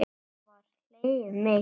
Svo var hlegið mikið.